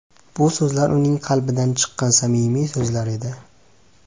Bu so‘zlar uning qalbidan chiqqan samimiy so‘zlar edi.